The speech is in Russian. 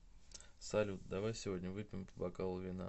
салют давай сегодня выпьем по бокалу вина